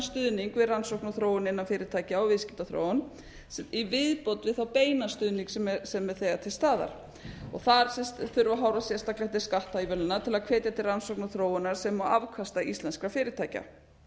rannsókn og þróun innan fyrirtækja og viðskiptaþróun í viðbót við þá beinan stuðning sem er þegar til staðar þar þurfum við að horfa sérstaklega til skattaívilnana til að hvetja til rannsókna og þróunar sem og afkasta íslenskra fyrirtækja